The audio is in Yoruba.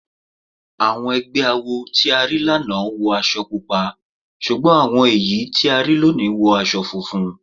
Àwọn awo tí a rí lánàá wọ aṣọ Pupa ṣùgbọ́n àwọn èyí tí a rí lónìí wọ aṣọ funfun.